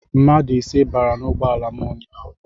Mmadụ ise bara n'ụgbọala m ụnyaahụ.